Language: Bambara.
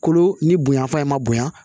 Kolo ni bonya fa in ma bonya